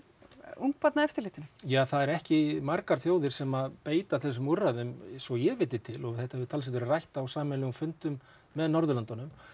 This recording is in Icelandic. ungbarnaeftirlitinu ja það eru ekki margar þjóðir sem beita þessum úrræðum svo ég viti til þetta hefur talsvert verið rætt á sameiginlegum fundum með Norðurlöndunum